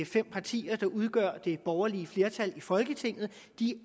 fem partier der udgør det borgerlige flertal i folketinget